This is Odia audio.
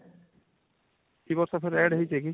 ଇ ବର୍ଷ ଫେରେ add ହେଇଚି କି